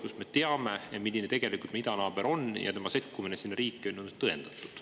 me teame, milline tegelikult meie idanaaber on, ja tema sekkumine selles riigis toimuvasse on tõendatud.